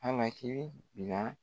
Halaki bila